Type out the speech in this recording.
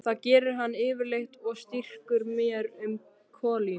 Það gerir hann yfirleitt og strýkur mér um kollinn.